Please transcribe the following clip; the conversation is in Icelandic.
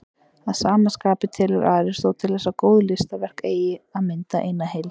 Að sama skapi telur Aristóteles að góð listaverk eigi að mynda eina heild.